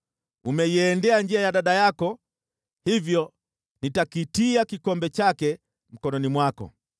Umeiendea njia ya dada yako, hivyo nitakitia kikombe chake mkononi mwako.